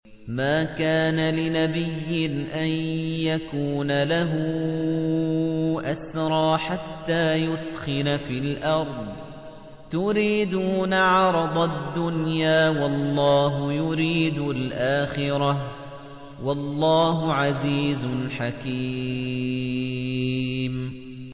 مَا كَانَ لِنَبِيٍّ أَن يَكُونَ لَهُ أَسْرَىٰ حَتَّىٰ يُثْخِنَ فِي الْأَرْضِ ۚ تُرِيدُونَ عَرَضَ الدُّنْيَا وَاللَّهُ يُرِيدُ الْآخِرَةَ ۗ وَاللَّهُ عَزِيزٌ حَكِيمٌ